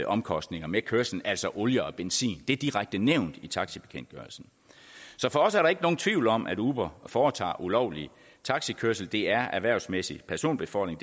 omkostninger ved kørslen altså olie og benzin det er direkte nævnt i taxibekendtgørelsen så for os er der ikke nogen tvivl om at uber foretager ulovlig taxikørsel det er erhvervsmæssig personbefordring